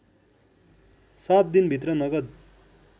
सात दिनभित्र नगद